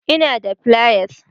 Ina da fliers